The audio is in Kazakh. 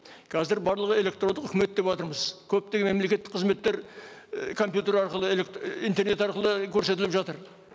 қазір барлығы электрондық үкімет деватырмыз көптеген мемлекеттік қызметтер і компьютер арқылы интернет арқылы көрсетіліп жатыр